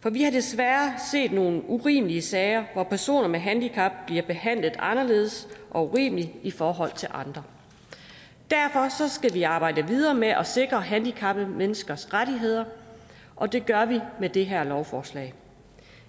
for vi har desværre set nogle urimelige sager hvor personer med handicap bliver behandlet anderledes og urimeligt i forhold til andre derfor skal vi arbejde videre med at sikre handicappede menneskers rettigheder og det gør vi med det her lovforslag